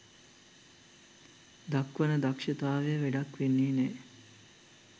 දක්වන දක්ෂතාවය වැඩක් වෙන්නෙ නෑ.